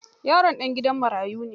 Yaron ɗan gidan marayu ne.